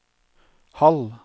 halv